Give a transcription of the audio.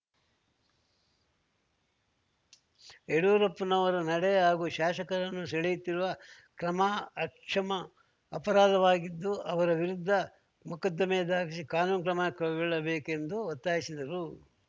ಯಡ್ಯೂರಪ್ಪನವರ ನಡೆ ಹಾಗೂ ಶಾಸಕರನ್ನು ಸೆಳೆಯುತ್ತಿರುವ ಕ್ರಮ ಅಕ್ಷಮ ಅಪರಾಧವಾಗಿದ್ದು ಅವರ ವಿರುದ್ಧ ಮೊಕದ್ದಮೆ ದಾಖಲಿಸಿ ಕಾನೂನು ಕ್ರಮ ಕೈಗೊಳ್ಳಬೇಕೆಂದು ಒತ್ತಾಯಿಸಿದರು